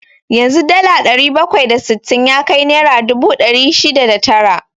Yanzu dala ɗari bakwai da sittin ya kai naira dubu ɗari shida da tara.